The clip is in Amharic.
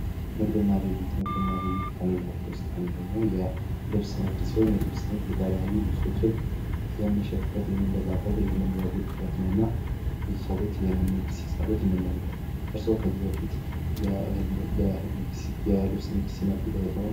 ንግድና ግብይት ውስጥ አንደኛው የልብስ ይሆን የተለያዩ ልብሶችን የምሸጥበት የመንበዛበት ነውና እንመለከት እርሶ ከዚህ በፊት ያሉት